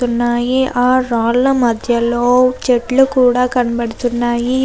ఉన్నాయి ఆ రాళ్ళ మధ్యలో చెట్లు కూడా కనపడుతున్నాయి.